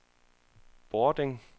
Bording